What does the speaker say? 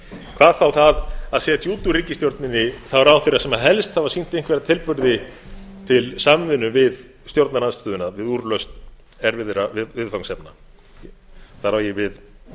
hvað þá það að setja út úr ríkisstjórninni þá ráðherra sem helst hafa sýnt einhverja tilburði til samvinnu við stjórnarandstöðuna við úrlausn erfiðra viðfangsefna þar á ég við